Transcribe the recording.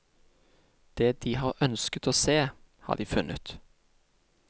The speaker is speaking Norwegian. Det de har ønsket å se, har de funnet.